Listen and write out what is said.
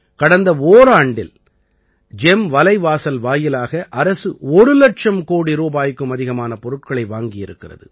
கடந்த ஓராண்டில் ஜெம் வலைவாசல் வாயிலாக அரசு ஒரு இலட்சம் கோடி ரூபாய்க்கும் அதிகமான பொருட்களை வாங்கியிருக்கிறது